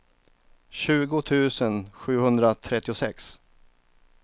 tjugo tusen sjuhundratrettiosex